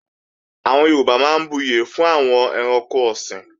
Àwọn Yorùbá máa ń buyè fún àwọn ẹranko ọ̀sìn